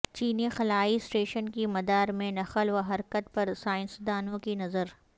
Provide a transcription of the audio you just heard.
چینی خلائی اسٹیشن کی مدار میں نقل و حرکت پر سائنسدانوں کی نظر